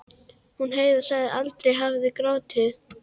Hún Heiða sem aldrei hafði grátið.